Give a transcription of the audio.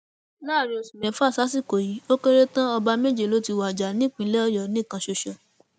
láàrin oṣù mẹfà sásìkò yìí ó kéré tán ọba méje ló ti wájà nípìnlẹ ọyọ nìkan ṣoṣo